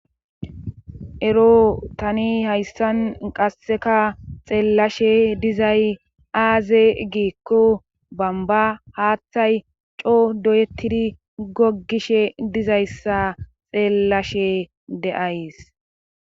ero tani hayssan qasseka xeellashe dizay aaze giikko bamba haaththay coo doyettidi gogishe dizayssa xeellashe de'ays